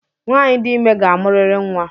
Nwanyị dị ime ga-amuriri nnwa